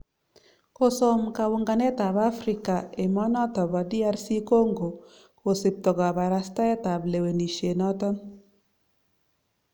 Kosom kaunganet ab Africa emet noton bo Dr Congo kosipto kabarstaet ab lewenisiet noton